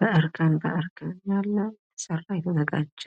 በእርከን የተዘጋጀ፣